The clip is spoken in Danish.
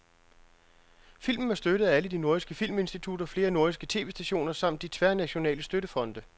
Filmen er støttet af alle de nordiske filminstitutter, flere nordiske tv-stationer samt de tværnationale støttefonde.